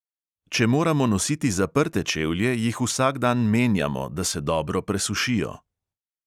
Če moramo nositi zaprte čevlje, jih vsak dan menjamo, da se dobro presušijo.